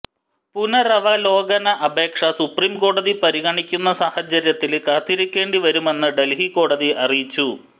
പുനരവലോകന അപേക്ഷ സുപ്രീം കോടതി പരിഗണിക്കുന്ന സാഹചര്യത്തില് കാത്തിരിക്കേണ്ടിവരുമെന്നു ഡൽഹി കോടതി അറിയിച്ചു